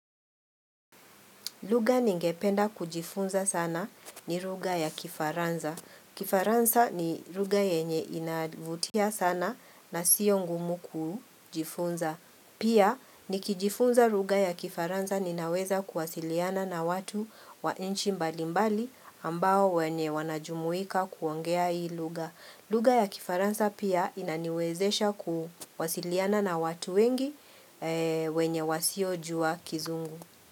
Lugha ningependa kujifunza sana ni ruga ya kifaranza. Kifaranza ni ruga yenye inavutia sana na siyo ngumu kujifunza. Pia, nikijifunza ruga ya kifaranza ninaweza kuwasiliana na watu wa inchi mbalimbali ambao wenye wanajumuika kuongea hii lugha. Lugha ya kifaransa pia inaniwezesha kuwasiliana na watu wengi wenye wasiojua kizungu.